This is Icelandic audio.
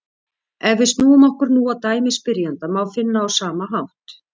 Ef við snúum okkur nú að dæmi spyrjanda má finna á sama hátt: